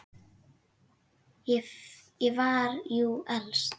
Ég var jú elst.